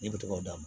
Ne bi tɔgɔ d'a ma